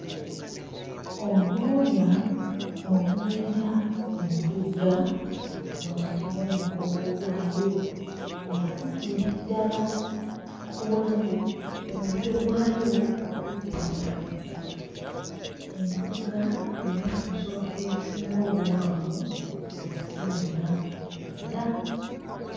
Olwoya olubeera ku ntugga wakati w'omugongo gwayo nga luviira ddala ku bulago ku mutwe gwayo okutuukira ddala ku mukira entugga y'emu ku nsolo ezisinga obuwanvu mu nsi yonna era.